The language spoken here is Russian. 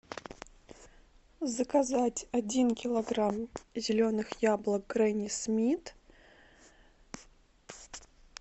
заказать один килограмм зеленых яблок гренни смит